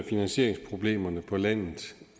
finansieringsproblemerne på landet